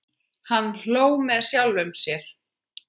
Hann hló með sjálfum sér.